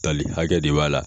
Tali hakɛ de b'a la.